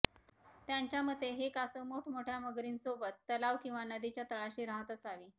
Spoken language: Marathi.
त्यांच्या मते हे कासव मोठमोठ्या मगरींसोबत तलाव किंवा नदीच्या तळाशी राहत असावे